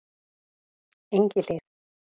Engihlíð